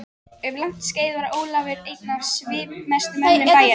Um langt skeið var Ólafur einn af svipmestu mönnum bæjarins.